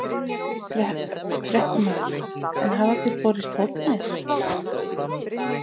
Fréttamaður: En hafa þér borist hótanir?